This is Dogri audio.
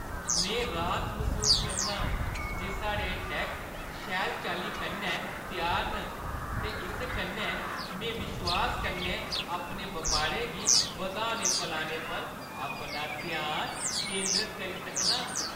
में राहत मसूस करनां जे साढ़े टैक्स शैल चाल्ली कन्नै त्यार न, ते इस कन्नै में विश्वास कन्नै अपने बपारै गी बधाने-फलाने पर अपना ध्यान केंदरत करी सकनां।